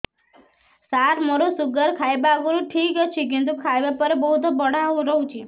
ସାର ମୋର ଶୁଗାର ଖାଇବା ଆଗରୁ ଠିକ ଅଛି କିନ୍ତୁ ଖାଇବା ପରେ ବହୁତ ବଢ଼ା ରହୁଛି